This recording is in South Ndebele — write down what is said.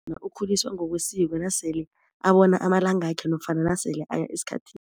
Ukhuliswa ngokwesiko nasele abona amalangakhe nofana nasele aya esikhathini.